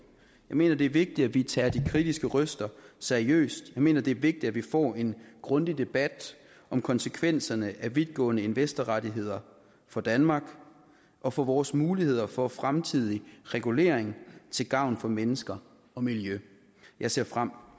jeg mener det er vigtigt at vi tager de kritiske røster seriøst jeg mener det er vigtigt at vi får en grundig debat om konsekvenserne af vidtgående investorrettigheder for danmark og for vores muligheder for fremtidig regulering til gavn for mennesker og miljø jeg ser frem